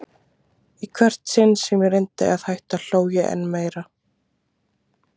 Í hvert sinn sem ég reyndi að hætta hló ég enn meir.